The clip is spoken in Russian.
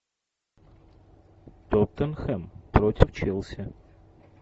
тоттенхэм против челси